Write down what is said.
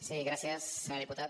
sí gràcies senyor diputat